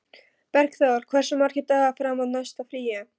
Bergþór, hversu margir dagar fram að næsta fríi?